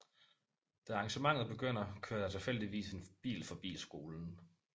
Da arrangementet begynder kører der tilfældigvis en bil forbi skolen